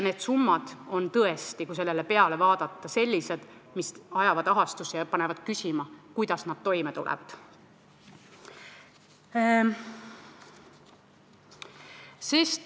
Need summad on tõesti, kui neid vaadata, sellised, mis ajavad ahastusse ja panevad küsima, kuidas need pered toime tulevad.